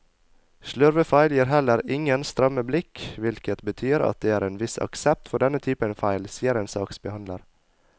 Slurvefeil gir heller ingen stramme blikk, hvilket betyr at det er en viss aksept for denne typen feil, sier en saksbehandler.